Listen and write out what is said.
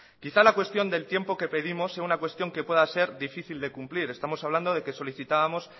quizá la cuestión del tiempo que pedimos sea una cuestión que pueda ser difícil de cumplir estamos hablando de que solicitábamos